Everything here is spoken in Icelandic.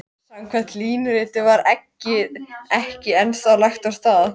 Samkvæmt línuritinu var eggið ekki ennþá lagt af stað.